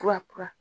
Kura kura